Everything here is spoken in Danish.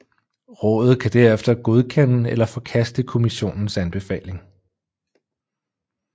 Rådet kan derefter godkende eller forkaste Kommissionens anbefaling